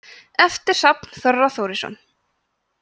eftir hrafn þorra þórisson